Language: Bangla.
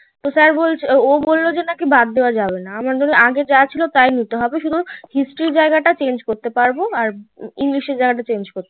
তো sir বলছে ও বললো নাকি বাদ দাওয়া যাবে না আগে যা ছিল তাই নিতে হবে সুদু history জায়গা টা change করতে পারবে আর english আর জায়গায় তা চেঞ্জ করতে পারবে